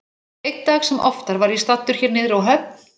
Einn dag sem oftar var ég staddur hér niðri á höfn.